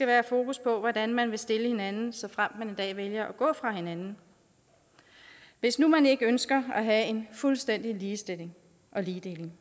være fokus på hvordan man vil stille hinanden såfremt man en dag vælger at gå fra hinanden hvis nu man ikke ønsker at have en fuldstændig ligestilling og ligedeling